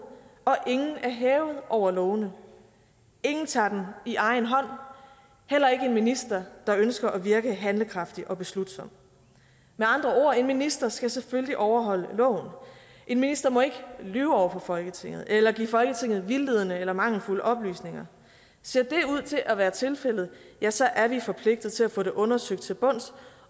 og at ingen er hævet over lovene ingen tager dem i egen hånd heller ikke en minister der ønsker at virke handlekraftig og beslutsom med andre ord en minister skal selvfølgelig overholde loven en minister må ikke lyve over for folketinget eller give folketinget vildledende eller mangelfulde oplysninger ser det ud til at være tilfældet ja så er vi forpligtet til at få det undersøgt til bunds